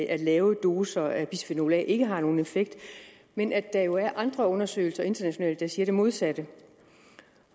at lave doser af bisfenol a ikke har nogen effekt men at der jo er andre undersøgelser internationalt der siger det modsatte